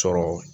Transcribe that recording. Sɔrɔ